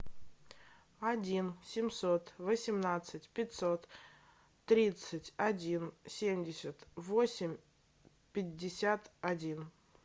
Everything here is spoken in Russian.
один семьсот восемнадцать пятьсот тридцать один семьдесят восемь пятьдесят один